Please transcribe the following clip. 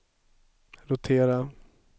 rotera